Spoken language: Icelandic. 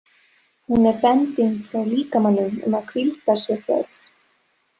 Hún er bending frá líkamanum um að hvíldar sé þörf.